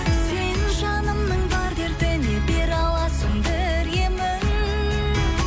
сен жанымның бар дертіне бере аласың бір емін